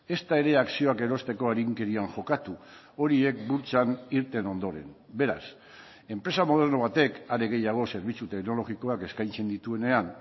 ezta ere akzioak erosteko arinkerian jokatu horiek burtsan irten ondoren beraz enpresa moderno batek are gehiago zerbitzu teknologikoak eskaintzen dituenean